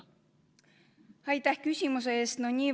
Aitäh küsimuse eest!